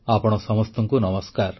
ଆପଣ ସମସ୍ତଙ୍କୁ ନମସ୍କାର